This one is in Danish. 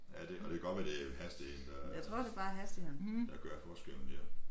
Ja det og det godt være det hastigheden der der gør forskellen der